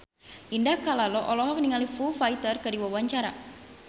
Indah Kalalo olohok ningali Foo Fighter keur diwawancara